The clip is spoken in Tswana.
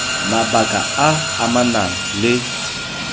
mabaka a a amanang le